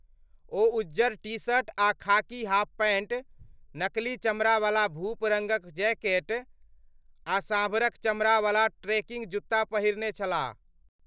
ओ उज्जर T shirt आ खाकी हाफ पैंट, नकली चमड़ावला भूप रङ्गक जैकेट आ साँभरक चमड़ावला ट्रेकिंग जूत्ता पहिरने छलाह।